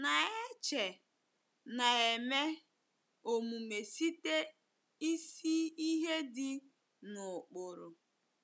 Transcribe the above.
Na-eche na-eme Omume site isi ihe dị n'ụkpụrụ.